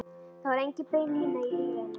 Það var engin bein lína í lífi hennar.